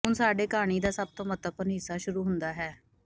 ਹੁਣ ਸਾਡੇ ਕਹਾਣੀ ਦਾ ਸਭ ਮਹੱਤਵਪੂਰਨ ਹਿੱਸਾ ਸ਼ੁਰੂ ਹੁੰਦਾ ਹੈ